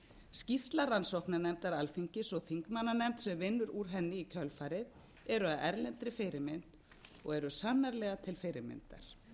skýrsla rannsóknarnefndar alþingis og þingmannanefnd sem vinnur úr henni í kjölfarið eru að erlendri fyrirmynd og eru sannarlega til fyrirmyndar